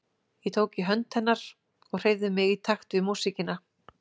Ég tók í hönd hennar og hreyfði mig í takt við músíkina.